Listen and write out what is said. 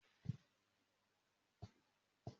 Mo máa se mọ́ínmọ́ín ní ọ̀sẹ̀ tí ó ń bọ̀